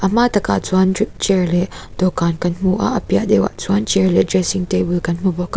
hma tak ah chuan cha chair leh dawhkan kan hmu a a piah deuhah chuan chair leh dressing table kan hmu bawk a.